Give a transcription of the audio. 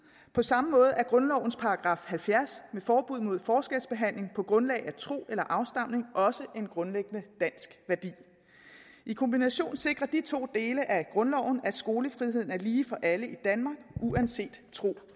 på samme måde er grundlovens § halvfjerds om forbud mod forskelsbehandling på grundlag af tro eller afstamning også en grundlæggende dansk værdi i kombination sikrer de to dele af grundloven at skolefriheden er lige for alle i danmark uanset tro